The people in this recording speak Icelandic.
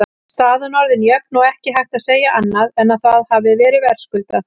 Staðan orðin jöfn og ekki hægt að segja annað en að það hafi verið verðskuldað.